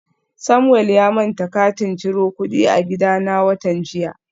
Samuel ya manta katin ciro kudi a gidana watan jiya